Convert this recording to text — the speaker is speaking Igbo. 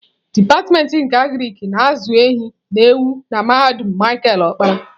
Dipatịmentị nke Agrik na-azụ ehi na ewu na mahadum Micheal okpara.